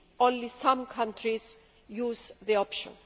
only some countries use the option.